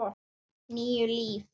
Níu líf.